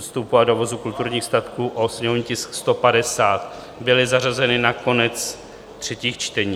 vstupu a dovozu kulturních statků, o sněmovní tisk 150, byly zařazeny na konec třetích čtení.